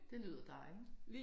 Det lyder dejligt